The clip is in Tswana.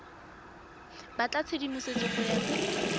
batla tshedimosetso go ya pele